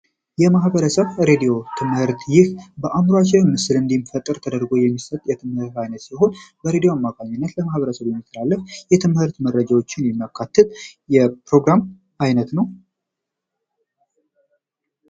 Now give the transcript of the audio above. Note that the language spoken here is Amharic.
የማህበረሰብ ሬዲዮ ትምህርት ይህ በአምራቸው ምስል እንዲፈጥር ተደርጎ የሚሰጥ የትምህርት አማካኝነት ማህበረሰብ የትምህርት መረጃዎችን የፕሮግራም አይነት ነው